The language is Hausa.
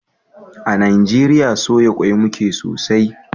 Mu a Najeriya, soya ƙwai muke sosai, ba irin wanda ake ɗorawa "ceviche bibimbap".